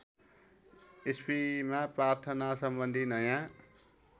इस्वीमा प्रार्थनासम्बन्धी नयाँ